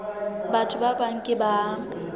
batho ba bang ke ba